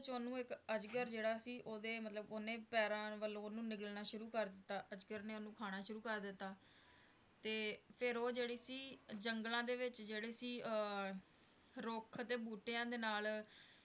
ਓਹਨੂੰ ਅਜਗਰ ਜਿਹੜਾ ਸੀ ਓਹਦੇ ਮਤਲਬ ਉਹਨੇਂ ਪੈਰਾਂ ਵੱਲੋਂ ਓਹਨੂੰ ਨਿਗਲਣਾ ਸ਼ੁਰੂ ਕਰ ਦਿੱਤਾ ਅਜਗਰ ਨੇ ਓਹਨੂੰ ਖਾਣਾ ਸ਼ੁਰੂ ਕਰ ਦਿੱਤਾ ਫਿਰ ਉਹ ਜਿਹੜੀ ਸੀ ਜੰਗਲਾਂ ਦੇ ਵਿੱਚ ਜਿਹੜੇ ਸੀ ਅਹ ਰੁੱਖ ਤੇ ਬੂਟਿਆਂ ਦੇ ਨਾਲ